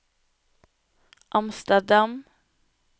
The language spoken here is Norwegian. Amsterdam